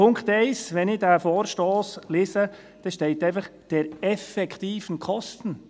Wenn ich diesen Vorstoss lese, steht in Punkt 1 «der effektiven Kosten».